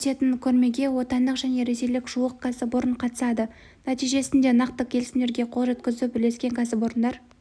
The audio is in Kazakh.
өтетін көрмеге отандық және ресейлік жуық кәсіпорын қатысады нәтижесінде нақты келісімдерге қол жеткізу бірлескен кәсіпорындар